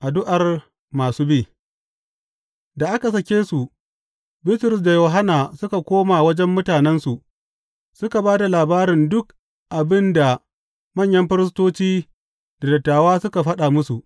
Addu’ar masu bi Da aka sake su, Bitrus da Yohanna suka koma wajen mutanensu suka ba da labarin duk abin da manyan firistoci da dattawa suka faɗa musu.